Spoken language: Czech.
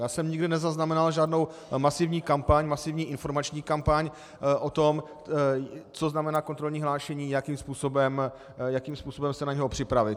Já jsem nikde nezaznamenal žádnou masivní kampaň, masivní informační kampaň o tom, co znamená kontrolní hlášení, jakým způsobem se na něj připravit.